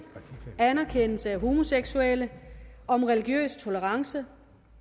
anerkendelse af homoseksuelle om religiøs tolerance